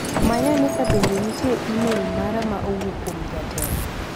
Manyane ka bende nitie imel mara ma owuok kuom jatelo.